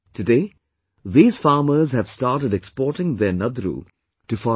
Today these farmers have started exporting their Nadru to foreign countries